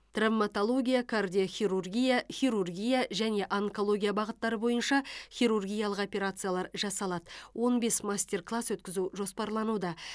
травматология кардиохирургия хирургия және онкология бағыттары бойынша хирургиялық операциялар жасалады он бес мастер класс өткізу жоспарлануда